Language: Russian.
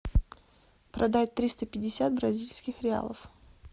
продать триста пятьдесят бразильских реалов